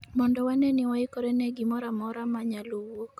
mondo wane ni waikore ne gimoro amora ma nyalo wuok